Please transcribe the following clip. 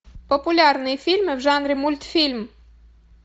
популярные фильмы в жанре мультфильм